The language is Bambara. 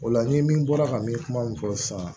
O la ni min bɔra ka min kuma min fɔ sisan